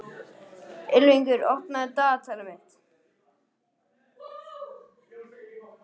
Ylfingur, opnaðu dagatalið mitt.